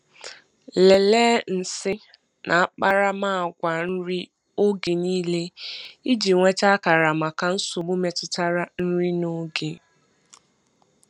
Lelee nsị na akparamagwa nri oge niile iji nweta akara maka nsogbu metụtara nri n'oge.